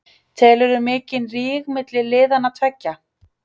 Telurðu mikinn ríg milli liðanna tveggja?